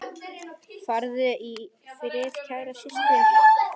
Far í friði, kæra systir.